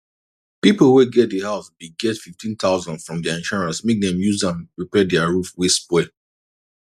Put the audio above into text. people wey get the house bin get 15000 from their insurance make dem use am repair their roof wey spoil